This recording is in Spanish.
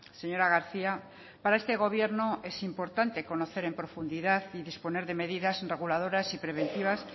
señora garcía para este gobierno es importante conocer en profundidad y disponer de medidas reguladoras y preventivas